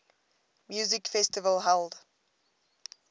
music festival held